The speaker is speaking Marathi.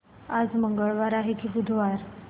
आज मंगळवार आहे की बुधवार